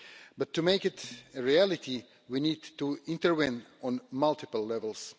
But to make it a reality, we need to intervene on multiple levels.